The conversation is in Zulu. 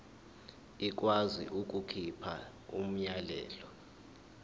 ikwazi ukukhipha umyalelo